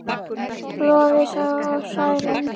Lovísa og Særún.